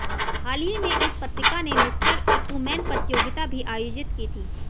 हाल ही में इस पत्रिका ने मिस्टर इकुमेन प्रतियोगिता भी आयोजित की थी